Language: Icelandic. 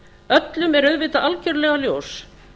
öllum er auðvitað algerlega ljóst